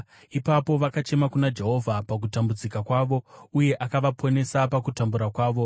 Ipapo vakachema kuna Jehovha pakutambudzika kwavo, uye akavaponesa pakutambura kwavo.